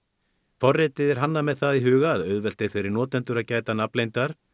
forritið er hannað með það í huga að auðvelt er fyrir notendur að gæta nafnleyndar